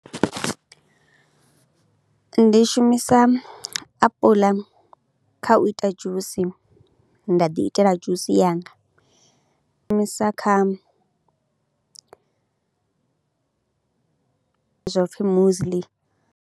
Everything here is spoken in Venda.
Ndi shumisa apuḽa kha u ita dzhusi, nda ḓiitela dzhusi yanga, ndi shumisa kha zwo pfhi muesli.